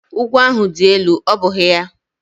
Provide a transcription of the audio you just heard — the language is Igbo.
Ugwu ahụ dị elu, ọ́ bụghị ya?